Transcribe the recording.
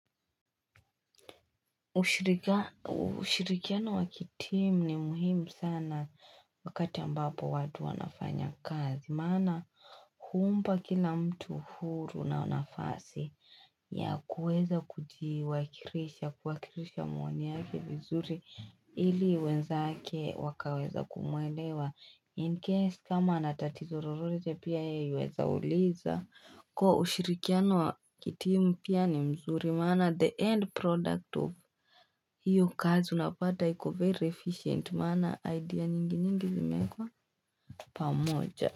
Ushirikiano wa kitimu ni muhimu sana wakati ambapo wadu wanafanya kazi. Maana huumpa kila mtu huru na nafasi ya kuweza kuwakirisha maoni yake vizuri ili wenzake wakaweza kumwelewa. In case kama ana tatizo rorote pia yeye huweza uliza kuwa ushirikiano wa kitimu pia ni mzuri Maana the end product of hiyo kazi unapata iko very efficient Maana idea nyingi nyingi zimeekwa pamoja.